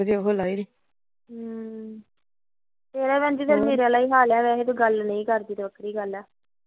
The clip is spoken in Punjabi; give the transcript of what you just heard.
ਤੇਰਾ ਵੀ ਵੈਲੇ ਮੀਰਾ ਆਲਾ ਹਾਲ ਆ ਗੱਲ ਨਹੀਂ ਕਰਦੀ ਬਹੁਤੀ ਗੱਲ